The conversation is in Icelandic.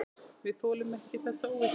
Við þolum ekki þessa óvissu.